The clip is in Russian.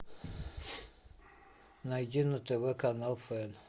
найди на тв канал фен